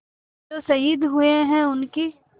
जो शहीद हुए हैं उनकी